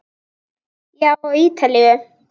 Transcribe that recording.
Já, á Ítalíu.